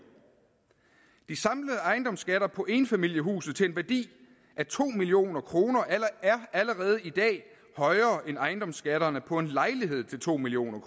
de samlede ejendomsskatter på enfamilieshuse til en værdi af to million kroner er allerede i dag højere end ejendomsskatterne på en lejlighed til to million